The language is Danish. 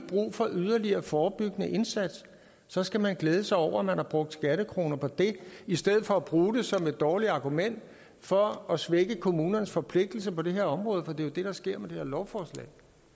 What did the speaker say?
brug for yderligere forebyggende indsats så skal man glæde sig over at man har brugt skattekroner på det i stedet for at bruge det som et dårligt argument for at svække kommunernes forpligtelser på det her område for det er jo det der sker med det her lovforslag